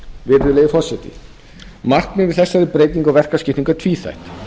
virðulegi forseti markmið með þessari breytingu verkaskiptingar er tvíþætt